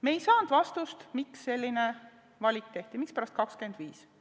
Me ei saanud vastust, miks selline valik tehti, mispärast 25%.